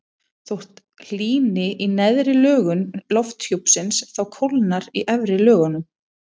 þótt hlýni í neðri lögum lofthjúpsins þá kólnar í efri lögunum